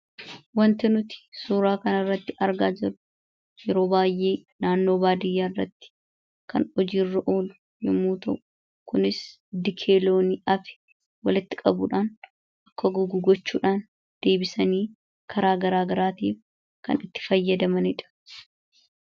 Wanti nuti suuraa kanarratti argaa jirru yeroo baay'ee naannoo baadiyyaa irratti kan hojiirra oolu yommuu ta'u, kunis dikee loonii hafe walitti qabuudhaan akka gogu gochuudhaan deebisanii karaa garaagaraatiin kan itti fayyadamanii dha.